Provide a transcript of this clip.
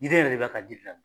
Diden yɛrɛ de b'a ka di gilan.